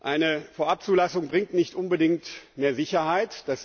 Eine Vorabzulassung bringt nicht unbedingt mehr Sicherheit.